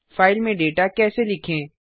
file में data कैसे लिखें160